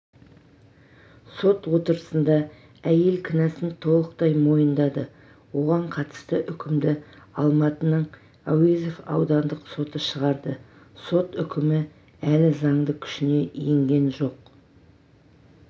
сот отырысында әйел кінәсін толықтай мойындады оған қатысты үкімді алматының әуезов аудандық соты шығарды сот үкімі әлі заңды күшіне енген жоқ